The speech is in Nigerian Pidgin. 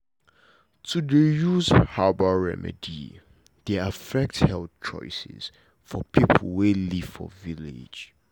to dey use herbal remedy dey affect health choices for people wey live for village